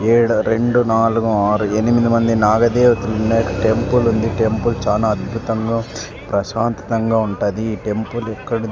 ఈడ రెండు నాలుగు ఆరు ఎనిమిది మంది నాగదేవతలు ఉన్న టెంపుల్ ఉంది. టెంపుల్ చానా అద్భుతంగా ప్రశాంతతంగా ఉంటాది. ఈ టెంపుల్ ఇక్కడ